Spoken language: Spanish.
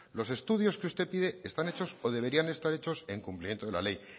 los estudios que usted pide están hechos o deberían estar hechos en cumplimiento de la ley